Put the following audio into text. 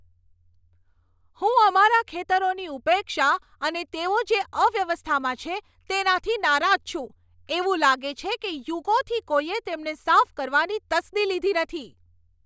હું અમારા ખેતરોની ઉપેક્ષા અને તેઓ જે અવ્યવસ્થામાં છે તેનાથી નારાજ છું. એવું લાગે છે કે યુગોથી કોઈએ તેમને સાફ કરવાની તસ્દી લીધી નથી.